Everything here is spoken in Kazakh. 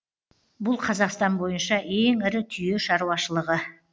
бұл қазақстан бойынша ең ірі түйе шаруашылығы